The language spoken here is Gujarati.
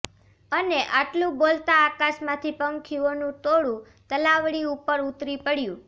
અને આટલું બોલતાં આકાશમાંથી પંખીઓનું ટોળું તલાવડી ઉપર ઉતરી પડ્યું